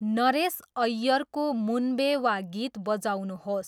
नरेश ऐय्यरको मुनबे वा गीत बजाउनुहोस्।